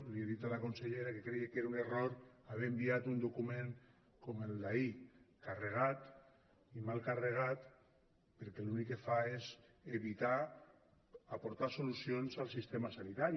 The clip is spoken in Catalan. li he dit a la consellera que creia que era un error haver enviat un document com el d’ahir carregat i mal carregat perquè l’únic que fa és evitar aportar solucions al sistema sanitari